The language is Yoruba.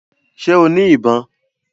Ṣẹ́ o ní ìbọn?